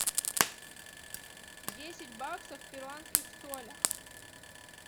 десять баксов в перуанских солях